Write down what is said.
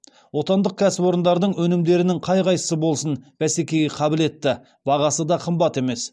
отандық кәсіпорындардың өнімдерінің қай қайсысы болсын бәсекеге қабілетті бағасы да қымбат емес